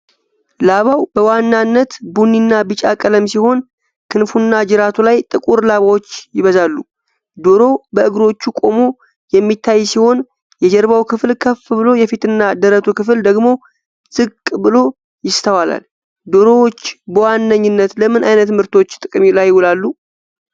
ላባው በዋናነት ቡኒና ቢጫ ቀለም ሲሆን፣ ክንፉና ጅራቱ ላይ ጥቁር ላባዎች ይበዛሉ። ዶሮው በእግሮቹ ቆሞ የሚታይ ሲሆን፣ የጀርባው ክፍል ከፍ ብሎ የፊትና ደረቱ ክፍል ደግሞ ዝቅ ብሎ ይስተዋላል። ዶሮዎች በዋነኝነት ለምን ዓይነት ምርቶች ጥቅም ላይ ይውላሉ?